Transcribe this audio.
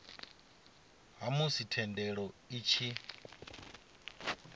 ha musi thendelo i tshi